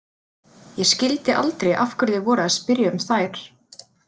Ég skildi aldrei af hverju þið voruð að spyrja um þær.